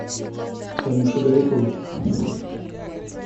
танюше гариповой